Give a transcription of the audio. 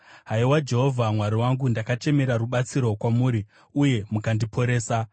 Haiwa Jehovha Mwari wangu, ndakachemera rubatsiro kwamuri uye mukandiporesa.